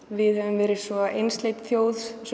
við höfum verið svo einsleit þjóð